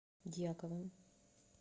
дьяковым